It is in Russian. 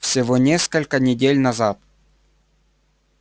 всего несколько недель назад